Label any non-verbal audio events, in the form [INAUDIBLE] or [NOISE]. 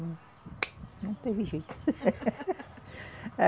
Não [APPLAUSE] não teve jeito. [LAUGHS]